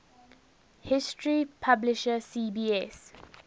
history publisher cbs